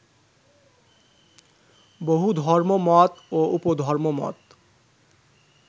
বহু ধর্মমত ও উপধর্মমত